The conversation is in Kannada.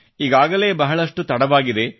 ಈಗಾಗಲೇ ಬಹಳಷ್ಟು ತಡವಾಗಿದೆ